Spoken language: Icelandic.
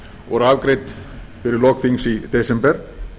voru afgreidd fyrir lok þings í desember